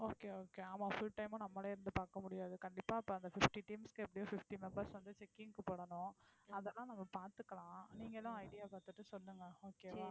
okay okay ஆமா full time உம் நம்மலே இருந்து பாக்க முடியாது கண்டிப்பா அப்போ அந்த fifty teams க்கு எப்படியும் fifty members வந்து checking க்கு போடனும் அதெல்லாம் நம்ம பாத்துக்கலாம் நீங்களும் idea பாத்துட்டு சொல்லுங்க okay வா